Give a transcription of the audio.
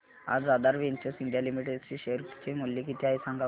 आज Aadhaar Ventures India Limited चे share चे मूल्य किती आहे सांगा बरं